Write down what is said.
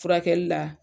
Furakɛli la